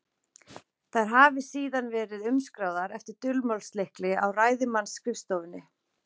Þær hafi síðan verið umskráðar eftir dulmálslykli á ræðismannsskrifstofunni.